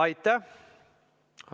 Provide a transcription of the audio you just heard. Aitäh!